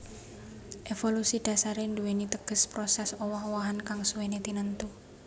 Évolusi dhasaré nduwèni teges prosès owah owahan kang suwéné tinentu